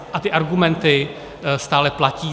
A ty argumenty stále platí.